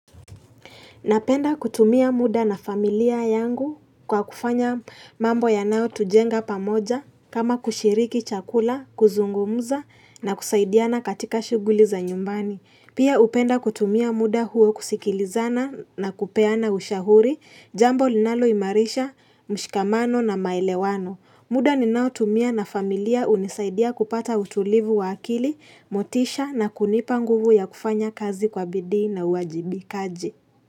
Napenda kutumia muda na familia yangu kwa kufanya mambo yanayo tujenga pamoja kama kushiriki chakula, kuzungumza na kusaidiana katika shughuli za nyumbani. Pia hupenda kutumia muda huo kusikilizana na kupeana ushauri, jambo linaloimarisha, mshikamano na maelewano. Muda ninaotumia na familia hunisaidia kupata utulivu wa akili, motisha na kunipa nguvu ya kufanya kazi kwa bidii na uajibikaji.